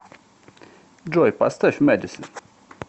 джой поставь медисин